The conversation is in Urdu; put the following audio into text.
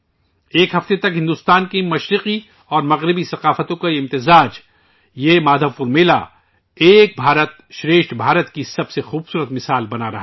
ایک ہفتے تک بھارت کے مشرق اور مغربی کی ثقافت کا یہ ملن ، یہ مادھو پور میلہ، ایک بھارت شریسٹھا بھارت کی بہت خوبصورت مثال بن رہا ہے